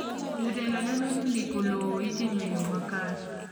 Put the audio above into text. Jotelo neno ni ndiko lowo itimo e yo makare.